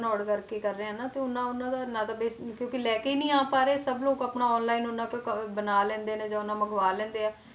Odd ਕਰਕੇ ਹੀ ਕਰ ਰਹੇ ਆ ਨਾ ਤੇ ਓਨਾ ਉਹਨਾਂ ਦਾ ਨਾ ਤਾਂ ਵੇਚ ਕਿਉਂਕਿ ਲੈ ਕੇ ਹੀ ਨੀ ਆ ਪਾ ਰਹੇ, ਸਭ ਲੋਕ ਆਪਣਾ online ਓਨਾ ਕੁ ਕ~ ਬਣਾ ਲੈਂਦੇ ਆ ਜਾਂ ਓਨਾ ਮੰਗਵਾ ਲੈਂਦੇ ਆ,